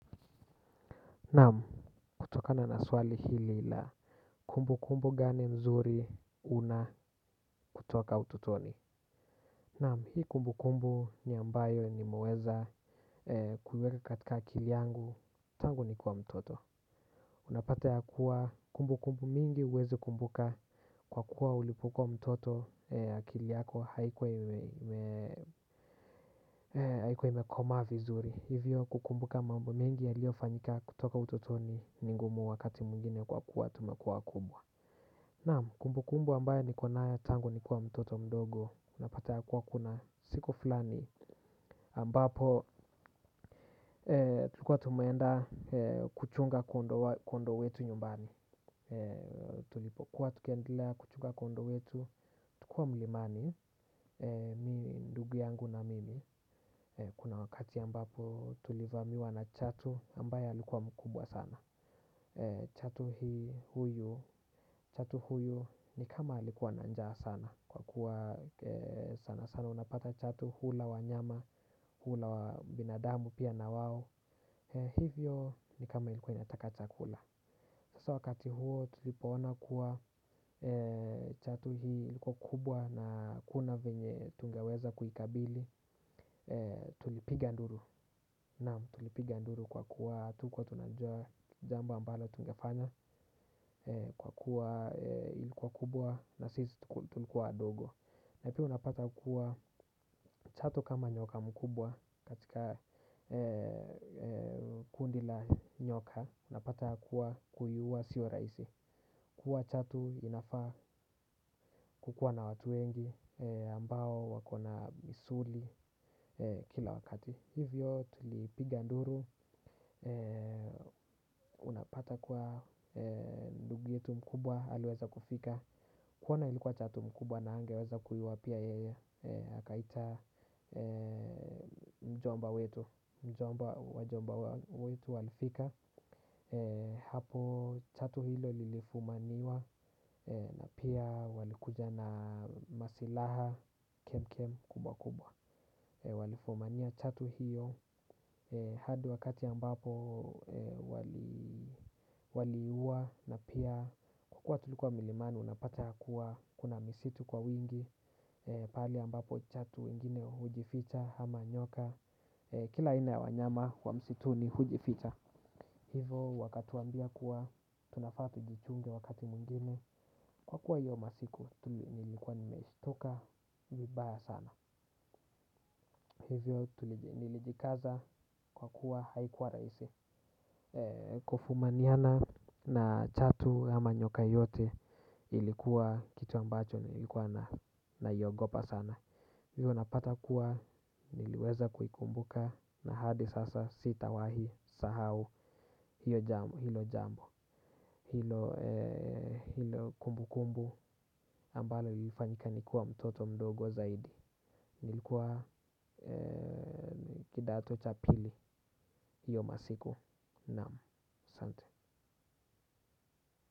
Naam kutokana swali hili la kumbukumbu gani mzuri una kutoka ututoni. Naam hii kumbukumbu ni ambayo nimeweza kuiweka katika akili yangu tangu nikiwa mtoto. Unapata ya kuwa kumbukumbu mingi huwezi kumbuka kwa kuwa ulipokuwa mtoto akili yako haikuwa imekoma vizuri. Hivyo kukumbuka mambo mengi yaliofanyika kutoka utotoni ni ngumu wakati mwigine kwa kuwa tumekua wakubwa. Naam kumbukumbu ambayo nikonayo tangu nikiwa mtoto mdogo unapata ya kuwa kuna siku fulani ambapo tulikuwa tumenda kuchunga kondo wetu nyumbani. Tulipokuwa tukiendelea kuchunga kondo wetu tukiwa mlimani mi ndugu yangu na mimi kuna wakati ambapo tulivamiwa na chatu ambaya alikuwa mkubwa sana. Chatu huyu ni kama alikuwa na njaa sana. Kwa kuwa sana sana unapata chatu hula wanyama. Hula wa binadamu pia na wao. Hivyo ni kama ilikuwa inataka chakula. Sasa wakati huo tulipoona kuwa chatu hii ilikuwa kubwa na hakuna venye tungeweza kuikabili. Tulipiga nduru. Naam tulipiga nduru kwa kuwa hatukuwa tunajuwa jambo ambalo tungefanya kwa kuwa ilikuwa kubwa na sisi tulikuwa wadogo. Na pia unapata kuwa chatu kama nyoka mkubwa katika kundi la nyoka unapata kuwa kuiua sio rahisi kuua chatu inafaa kukuwa na watu wengi ambao wakona misuli kila wakati. Hivyo tulipiga nduru, unapata kuwa ndugu yetu mkubwa, aliweza kufika kuona ilikuwa chatu mkubwa na hangeweza kuiua pia yeye akaita mjomba wetu, mjomba wajomba wetu walifika. Hapo chatu hilo lilifumaniwa na pia walikuja na masilaha kem kem kubwa kubwa. Walifumania chatu hiyo hadi wakati ambapo wali waliua na pia kwa kuwa tulikuwa milimani unapata ya kuwa kuna misitu kwa wingi pale ambapo chatu wengine hujificha ama nyoka kila aina ya wanyama wa msitu ni hujificha. Hivo wakatuambia kuwa tunafaa tujichunge wakati mwingine kwa kuwa hiyo masiku nilikuwa nilikuwa nimeshtuka vibaya sana. Hivyo nilijikaza kwa kuwa haikuwa raisi. Kufumaniana na chatu ama nyoka yote ilikuwa kitu ambacho nilikuwa naiogopa sana. Hivyo napata kuwa niliweza kuikumbuka na hadi sasa sitawahi sahau hilo jambo. Hilo kumbukumbu ambalo lilifanika nikiwa mtoto mdogo zaidi. Nilikuwa kidato cha pili. Hiyo masiku naam asanti.